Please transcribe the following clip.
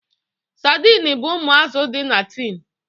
Sadin bụ ụmụ azụ dị na tin